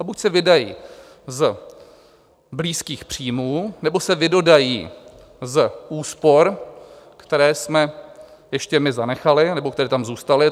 A buď se vydají z blízkých příjmů, nebo se vydodají z úspor, které jsme ještě my zanechali nebo které tam zůstaly.